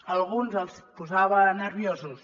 a alguns els posava nerviosos